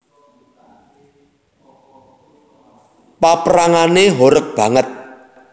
Paprangané horeg banget